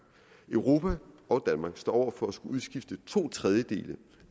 europa og danmark står over for at skulle udskifte to tredjedele